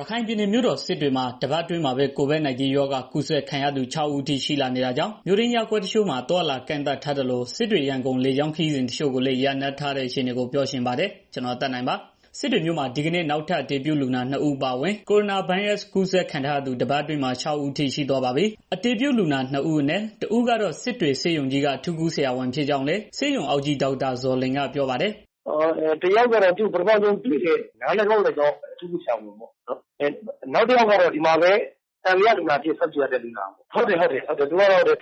ရခိုင်ပြည်နယ်မြို့တော် စစ်တွေမှာ တပတ်အတွင်းမှာပဲ COVID-19 ရောဂါကူးစက်ခံရသူ ၆ ဦးအထိ ရှိလာနေတာကြောင့် မြို့တွင်းရပ်ကွက် တချို့မှာ အသွားအလာ ကန့်သတ်ထားသလို စစ်တွေ-ရန်ကုန် လေကြောင်းခရီးစဉ် တချို့လည်း ရပ်ထားတဲ့ အခြေအနေကို ပြောချင်ပါတယ်။ ဗွီအိုအေမြန်မာပိုင်းသတင်းထောက် ကိုသက်နိုင်က သတင်းပေးပို့ထားပါတယ်။ စစ်တွေမြို့နယ်မှာ ဒီကနေ့ နောက်ထပ် အတည်ပြုလူနာ ၂ ဦး အပါအဝင် ကိုရိုနာဗိုင်းရပ်စ် ကူးစက်ခံ ရသူ တပတ်အတွင်းမှာ ၆ ဦးအထိ ရှိသွားပါပြီ။ အတည်ပြုလူနာသစ် ၂ ဦးအနက် တဦးကတော့ စစ်တွေဆေးရုံကြီးက အထူးကုဆရာဝန်ဖြစ်ကြောင်းလည်း ဆေးရုံအုပ်ကြီး ဒေါက်တာ ဇော်လွင်ကပြောပါတယ်။ "တစ်ယောက်ကတော့ ကျနော်တို့ဆေးရုံက နား၊ နှာခါင်း၊ လည်ချောင်း အထူးကုဆရာဝန်ပေါ့နော်။ နောက်တစ်ယောက်ကတော့ ကျနော်တို့ဆေးရုံမှာပဲ စောင့်ကြည့်လူနာအဖြစ်ရှိတာ သူက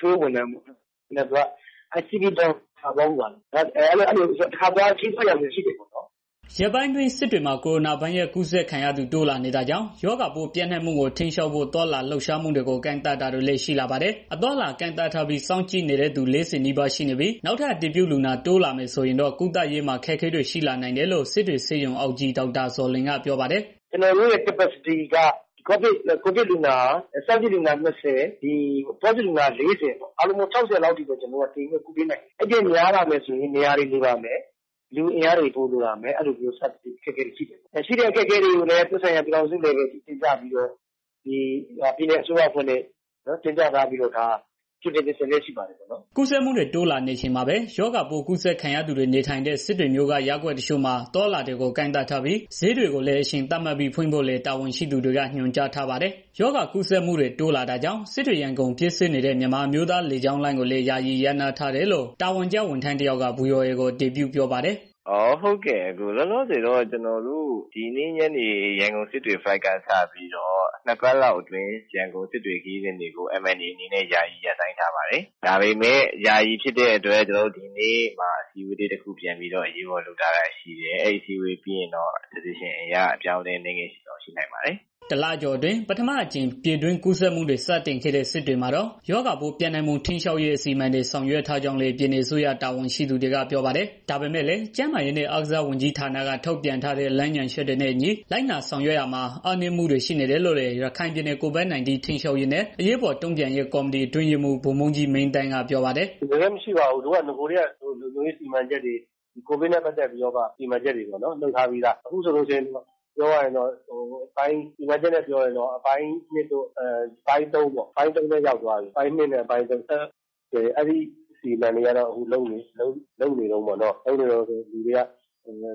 ထွေအုပ် ဝန်ထမ်းပေါ့နော်။ ဒီ CB bank ကို သွားဖူးတဲ့ ရာဇဝင်ရှိတာပေါ့နော်။" ရက်ပိုင်းအတွင်း စစ်တွေမှာ ကိုရိုနာဗိုင်းရပ်စ် ကူးစက်ခံရသူတွေ တိုးလာနေတာကြောင့် ရောဂါပိုးပျံ့နှံ့မှုကို ထိန်းချုပ်ဖို့ သွားလာလှုပ်ရှားမှုတွေကို ကန့်သတ်တာတွေလည်း ရှိလာပါတယ်။ အသွားအလာ ကန့်သတ်ထားပြီး စောင့်ကြည့်နေတဲ့သူ ၄၀ နီးပါး ရှိနေပြီး၊ နောက်ထပ် အတည်ပြုလူနာ တိုးလာမယ်ဆိုရင်တော့ ကုသရေးမှာ အခက်အခဲတွေ ရှိနိုင်တယ်လို့လည်း စစ်တွေဆေးရုံအုပ်ကြီး ဒေါက်တာ ဇော်လွင်ကပြောပါတယ်။ "ကျနော်တို့ရဲ့ လုပ်ဆောင်နိုင်တာက COVID စောင့်ကြည့်လူနာ ၂၀၊ positive လူနာ ၄၀ လောက်ကို တင်ပြီးတော့ ကုပေးနိုင်တယ်။ အဲတာထက် များလာမယ်ဆိုရင်တော့ ကျနော်တို့မှာ နေရာတွေလို လာမယ်။ အဲဒါကိုလည်း ပြည်ထောင်စုအထိ တင်ပြထားပြီး ပြည်နယ်အစိုးရကလည်း တင်ပြထားပြီး လုပ်ဆောင်နေတာတွေ ရှိပါတယ်။" ကူးစက်မှုတွေ တိုးလာနေချိန်မှာပဲ ရောဂါပိုးကူးစက်ခံရသူတွေ နေထိုင်တဲ့ စစ်တွေမြို့က ရပ်ကွက်တချို့မှာ အသွားအလာတွေကို ကန့်သတ်ထားပြီး ဈေးတွေကိုလည်း အချိန်သတ်မှတ်ပြီးဖွင့်ဖို့လည်း တာဝန်ရှိသူတွေက ညွှန်ကြားထားပါတယ်။ ရောဂါကူးစက်မှုတွေ တိုးလာတာကြောင့် စစ်တွေ-ရန်ကုန် ပြေးဆွဲနေတဲ့ မြန်မာအမျိုးသားလေကြောင်းလိုင်းကိုလည်း ယာယီ ရပ်နားထားတယ်လို့ တာဝန်ကျ ဝန်ထမ်းတယောက်က ဗွီအိုအေကို အတည်ပြုပါတယ်။ "လောလောဆယ်တော့ ကျနော်တို့ ဒီနေ့ညနေ flight က စပြီးတော့ နှစ်ပတ်လောက်အထိ ရန်ကုန်စစ်တွေ ခရီးစဉ်တွေကို MNA အနေနဲ့ ယာယီရပ်ဆိုင်းထားပါတယ်။ ဒါပေမဲ့ ဒီနေ့အစည်းအဝေးတစ်ခု ထပ်လုပ်တော့ အစည်းအဝေး ဆုံးဖြတ်ချက်အရ အပြောင်းအလဲ အနည်းငယ်ရှိနိုင်ပါတယ်။" တလကျော်အတွင်း ပထမဆုံးအကြိမ် ပြည်တွင်းကူးစက်မှုတွေ စတင်ခဲ့တဲ့ စစ်တွေမှာတော့ ရောဂါပိုးပျံ့နှံ့မှု ထိန်းချုပ်ရေး အစီအမံတွေ ဆောင်ရွက်ထားကြောင်းလည်း ပြည်နယ်အစိုးရ တာဝန်ရှိသူတွေက ပြောပါတယ်။ ဒါပေမဲ့လည်း ကျန်းမာရေးနဲ့အားကစားဝန်ကြီးဌာနက ထုတ်ပြန်ထားတဲ့ လမ်းညွှန်ချက်တွေနဲ့အညီ လိုက်နာဆောင်ရွက်ရာမှာ အားနည်းမှုတွေ ရှိနေတယ်လို့လည်း ရခိုင်ပြည်နယ် COVID -19 ထိန်းချုပ်ရေးနဲ့ အရေးပေါ်တုံ့ပြန်ရေး ကော်မတီ အတွင်းရေးမှူး ဗိုလ်မှူးကြီး မင်းသန်းက ပြောပါတယ်။ "ကျနော်တို့က နဂိုကတည်းက လုံခြုံရေး COVID နဲ့ ပတ်သတ်ပြီးတာ့ စီမံချက်တွေ လုပ်ထားပြီးသား။ အခုဆိုရင် စီမံချက်နဲ့ ပြောရရင်တော့ အပိုင်းသုံးထဲ ရောက်သွားပြီပေါ့နော်။ အခုကတော့ စီမံချက်တွေ လုပ်ဆောင်နေတုန်းပေါ့။ လူတွေကလည်း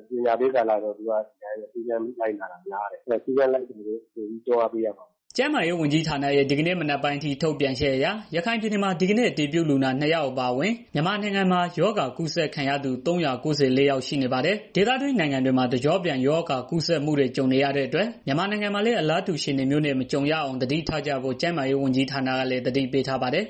ပညာပေးကာလဆိုတော့ စည်းကမ်းမလိုက်နာတာများတယ်။ စည်းကမ်းလိုက်နာအောင်တော့ တွန်းအားပေးရမှာပေါ့။" ကျန်းမာရေး ဝန်ကြီးဌာနရဲ့ ဒီကနေ့ မနက်ပိုင်းအထိ ထုတ်ပြန်ချက်အရ ရခိုင်ပြည်နယ်မှာ ဒီကနေ့ အတည်ပြုလူနာ နှစ် ယောက် အပါအဝင် မြန်မာနိုင်ငံမှာ ရောဂါကူးစက်သူ ၃၉၄ ယောက် ရှိနေပါတယ်။ ဒေသတွင်းနိုင်ငံတွေမှာ တကျော့ပြန် ရောဂါကူးစက်မှုတွေ ကြုံနေရတဲ့အတွက် မြန်မာနိုင်ငံမှာလည်း အလားတူ အခြေအနေမျိုးနဲ့ မကြုံရအောင် သတိထားကြဖို့ ကျန်းမာရေးဝန်ကြီးဌာနကလည်း သတိပေးထားပါတယ်